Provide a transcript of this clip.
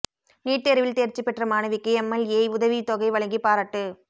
NEET தோ்வில் தோ்ச்சி பெற்ற மாணவிக்கு எம்எல்ஏ உதவித் தொகை வழங்கி பாராட்டு